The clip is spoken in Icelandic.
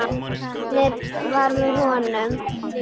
Heppnin var með honum.